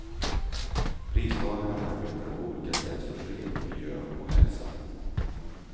Pristagarna arbetar på olika sätt för fred, miljö och hälsa.